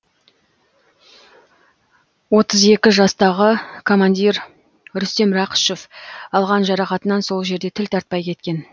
отыз екі жастағы командир рүстем рақышев алған жарақатынан сол жерде тіл тартпай кеткен